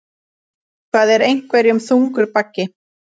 Eitthvað er einhverjum þungur baggi